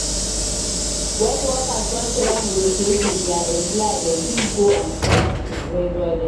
When workers don try negotiate with their employer dem fit go on strike to pressure dem